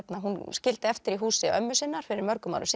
hún skildi eftir í húsi ömmu sinnar fyrir mörgum árum